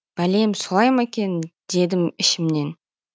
бәлем солай ма екен дедім ішімнен